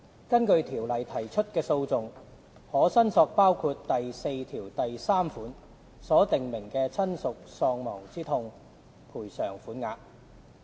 根據《條例》提出的訴訟，可申索包括第43條所訂明的親屬喪亡之痛賠償款額。